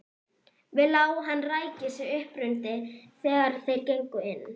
Við lá hann ræki sig uppundir þegar þeir gengu inn.